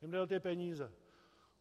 Jim jde o ty peníze.